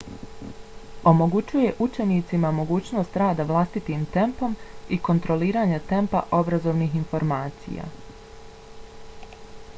omogućuje učenicima mogućnost rada vlastitim tempom i kontroliranja tempa obrazovnih informacija